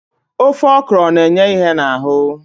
Ofe okro na-enye ìhè n'ahụ